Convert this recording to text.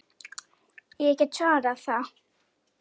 Ég get svarið það!